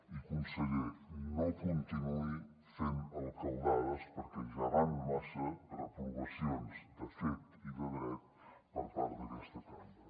i conseller no continuï fent alcaldades perquè ja van massa reprovacions de fet i de dret per part d’aquesta cambra